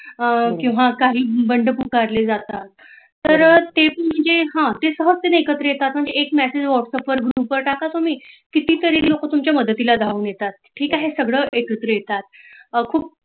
खुप किंवा काही बंड पुकारले जातात तर ते म्हणजे सहजतेने एकत्र येतात म्हणजे एक Message Whatsapp वर Group वर टाका तुम्ही कितीतरी लोक तुमच्या मदतीला धावून येतात ठीक आहे सगळं एकत्र येतात खुप